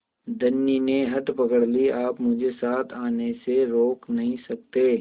धनी ने हठ पकड़ ली आप मुझे साथ आने से रोक नहीं सकते